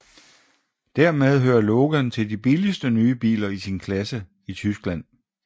Dermed hører Logan til de billigste nye biler i sin klasse i Tyskland